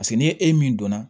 paseke ni e min donna